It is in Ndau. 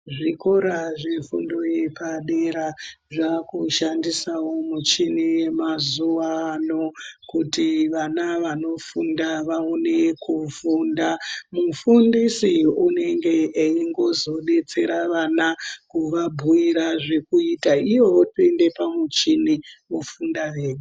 Zvikora zvefundo yepadera zvakushandisavo michini yamazuva ano kuti vana vanofunda vaonekufunda. Mufundisi unenge eizongobetsera vana kuvabhuira zvekuita ivo vopinda pamuchini vofunda vega.